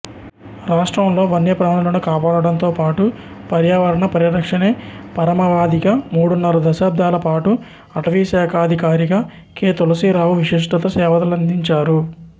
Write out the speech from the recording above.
రాష్ట్రంలో వన్యప్రాణులను కాపాడటంతోపాటు పర్యావరణ పరిరక్షణే పరమావధిగా మూడున్నర దశాబ్దాల పాటు అటవీశాఖాధికారిగా కె తులసీరావు విశిష్ట సేవలందించారు